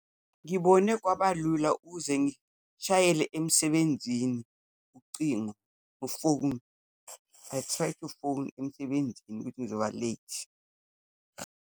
Ngibone kwabalula uze ngishayele emsebenzini ucingo, u-phone, I tried to phone emsebenzini ukuthi ngizoba late.